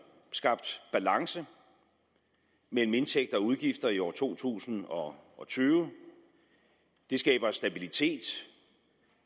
skabt balance mellem indtægter og udgifter i år to tusind og tyve det skaber stabilitet og